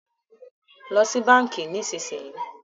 Lọ sì bánkì nísìsiyìí!